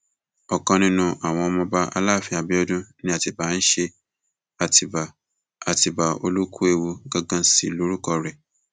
ọkan nínú àwọn ọmọọba aláàfin abiodun ni atibá ń ṣe àtibá àtibá olúkúewu ganan sí lórúkọ rẹ